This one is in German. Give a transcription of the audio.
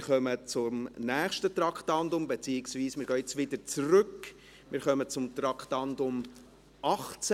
Wir kommen zum nächsten Traktandum, beziehungsweise kommen wir jetzt wieder zurück zu Traktandum 18.